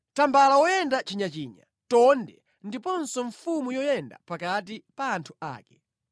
Tambala woyenda chinyachinya, mbuzi yayimuna, ndiponso mfumu yoyenda pakati pa anthu ake.